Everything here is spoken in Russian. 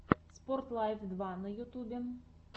спорт лайф два на ютубе